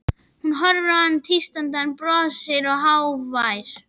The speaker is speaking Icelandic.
Hún horfir á hann tístandi, hann brosir, hógvær.